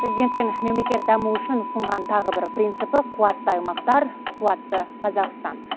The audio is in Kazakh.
президенттің мемлекет дамуы үшін ұсынған тағы бір принципі қуатты аймақтар қуатты қазақстан